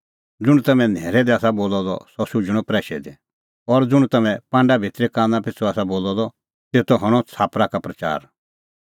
ज़ुंण तम्हैं न्हैरै दी आसा बोलअ द सह शुझणअ प्रैशै दी और ज़ुंण तम्हैं पांडा भितरी काना पिछ़ू आसा बोलअ द तेतो हणअ छ़ाप्परा का प्रच़ार